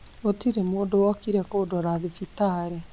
Gũtirĩ mũndũ wokire kũndora thibitarĩ